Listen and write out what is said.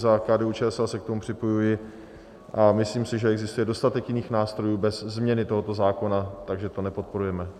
Za KDU-ČSL se k tomu připojuji a myslím si, že existuje dostatek jiných nástrojů bez změny tohoto zákona, takže to nepodporujeme.